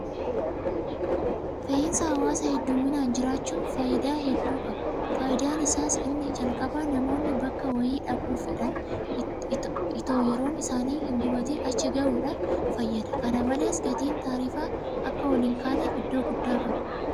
Konkolaataan fe'insa hawaasaa heddumminaan jiraachuun faayidaa guddaa qaba. Faayidaan isaas inni jalqabaa namoonni bakka wayii dhaquu fedhan itoo yeroon isaanii hingubatin achi ga'uudhaaf fayyada. Kana malees gatiin taarifaa akka ol hinkaaneef iddoo guddaa qaba.